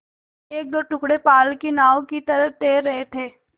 एकदो टुकड़े पाल की नावों की तरह तैर रहे थे